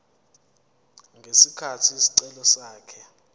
ngesikhathi isicelo sakhe